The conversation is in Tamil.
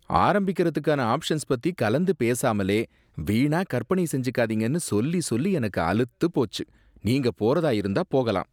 ஆரம்பிக்குறதுக்கான ஆப்ஷன்ஸ் பத்தி கலந்து பேசாமலே வீணா கற்பனை செஞ்சுக்காதீங்கன்னு சொல்லி சொல்லி எனக்கு அலுத்துப் போச்சு, நீங்க போறதா இருந்தா போகலாம்.